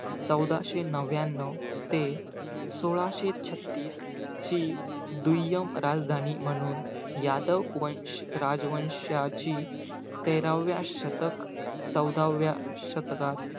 चौदाशे नव्याणव ते सोळाशे छत्तीस ची, दुय्यम राजधानी म्हणून यादव वंश, राजवंशांची तेराव्या शतक, चौदाव्या शतकात,